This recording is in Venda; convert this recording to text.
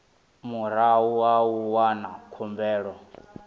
murahu ha u wana khumbelo